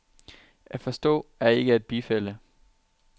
At forstå er ikke at bifalde.